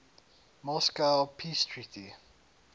moscow peace treaty